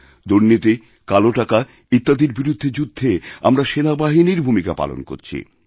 দুর্নীতিকালো টাকা ইত্যাদির বিরুদ্ধে যুদ্ধে আমরা সেনাবাহিনীর ভূমিকা পালন করছি